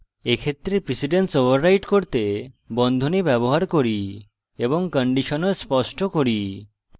এক্ষেত্রে precedence overwrite করতে বন্ধনী ব্যবহার করি এবং condition ও স্পষ্ট করি